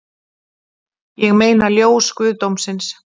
Ég meina ljós guðdómsins